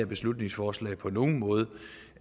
beslutningsforslag på nogen måde